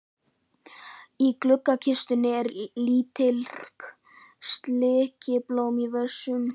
Í gluggakistunni eru litrík silkiblóm í vösum.